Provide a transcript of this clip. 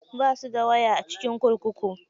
Basu da waya a cikin kurkuku.